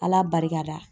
Ala barika la